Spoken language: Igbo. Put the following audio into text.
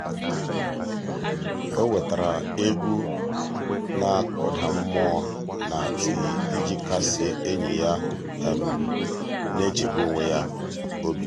o wetara egwu na-akụda mmụọ na tii iji kasie enyi ya na-echegbu onwe ya obi.